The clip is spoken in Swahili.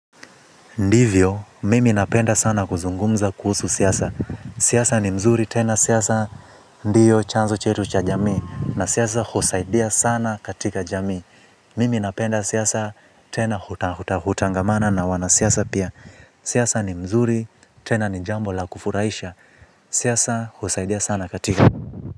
Ndivyo mimi napenda sana kuzungumza kuhusu siasa. Siasa ni mzuri, tena siasa, ndiyo chanzo chetu cha jamii, na siasa husaidia sana katika jamii. Mimi napenda siasa, tena hutangamana na wana siasa pia. Siasa ni mzuri, tena ni jambo la kufuraisha. Siyasa kusaidia sana katika.